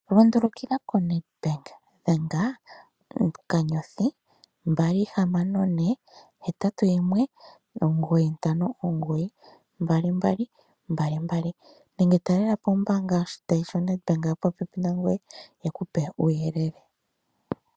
Lundulukila koNedBank. Dhenga +264819592222, nenge taalelapo ombaanga yoshitayi shaNedBank yeku pe uuyelele.